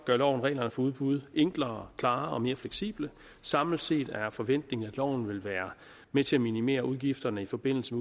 gør loven reglerne for udbud enklere klarere og mere fleksible samlet set er forventningen at loven vil være med til at minimere udgifterne i forbindelse